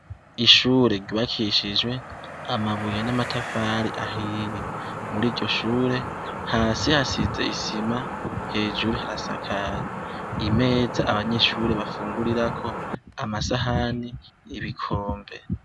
Ishure ryubakishijwe amabuye n'amatafari ahiye. Muri iryo shure, hasi hasize isima, hejuru harasaskaye. Imeza abanyeshure bafungurirako, amasahani, ibikombe.